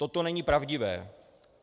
Toto není pravdivé.